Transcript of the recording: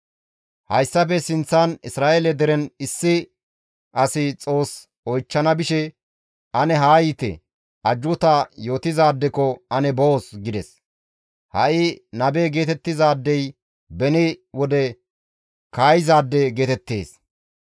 Hayssafe sinththan Isra7eele deren issi asi Xoos oychchana bishe, «Ane haa yiite, ajjuuta yootizaadekko ane boos» gides; ha7i nabe geetettizaadey beni wode kaayizaade geetettees.